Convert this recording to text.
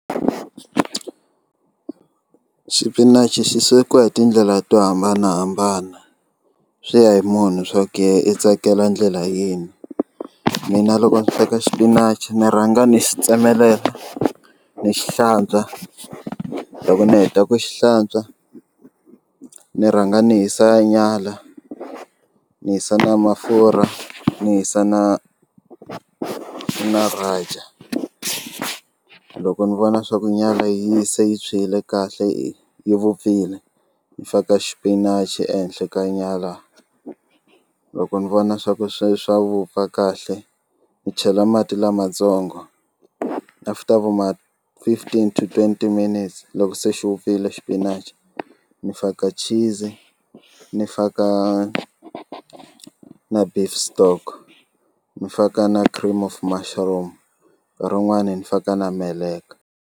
Xipinachi xi swekiwa hi tindlela to hambanahambana swi ya hi munhu swa ku yehe i tsakela ndlela yini mina loko ni sweka xipinachi ni rhanga ni xi tsemelela ni xi hlantswa loko ni heta ku xi hlantswa ni rhanga ni hisa nyala ni hisa na mafurha ni hisa na na Raja loko ni vona swa ku nyala yi se yi tshwile kahle yi vupfile ni faka xipinachi ehenhla ka nyala loko ni vona swa ku swi swa vupfa kahle ni chela mati lamatsongo after vo ma fifteen to twenty minutes loko se xi vupfile xipinachi ni faka cheese ni faka na beef stock ni faka na cream of mushroom nkarhi wun'wana ni faka na meleka.